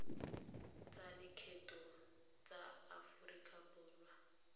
tsa lekgetho tsa aforika borwa